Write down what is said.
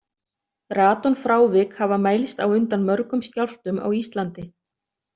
Radonfrávik hafa mælst á undan mörgum skjálftum á Íslandi.